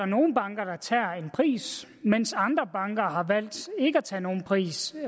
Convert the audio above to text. nogle banker der tager en pris mens andre banker har valgt ikke at tage nogen pris